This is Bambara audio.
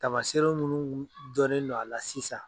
Taamaseere minnu dɔnen do a la sisan